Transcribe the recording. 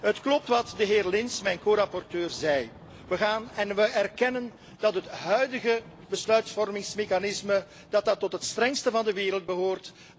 Het klopt wat de heer Lins, mijn corapporteur, zei we erkennen dat het huidige besluitvormingsmechanisme tot de strengste van de wereld behoort.